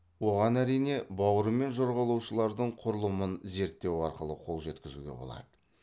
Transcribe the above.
оған әрине бауырымен жорғалаушылардың құрылымын зерттеу арқылы қол жеткізуге болады